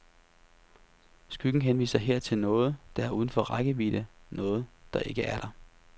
Skyggen henviser her til noget, der er uden for rækkevidde, noget, der ikke er der.